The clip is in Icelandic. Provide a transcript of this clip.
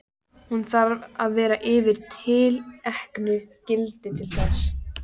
Hún þarf að vera yfir tilteknu gildi til þess.